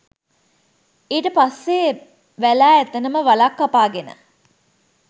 ඊට පස්සෙ වැලා එතනම වලක් කපාගෙන